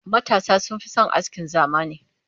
matasa sun Fi San askin zamani